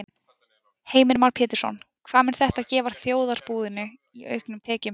Heimir Már Pétursson: Hvað mun þetta gefa þjóðarbúinu í auknum tekjum?